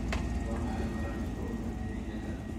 waa maxay wararkii ugu dambeeyay hadda